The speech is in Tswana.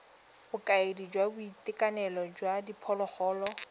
bokaedi jwa boitekanelo jwa diphologolo